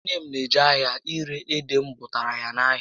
Nné m na eje ahịa ire ede m bụtaara ya n'ahịa